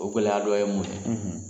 O gwɛlɛya dɔ ye mun ye